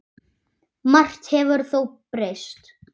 Margt hefur þó breyst.